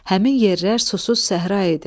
Həmin yerlər susuz səhra idi.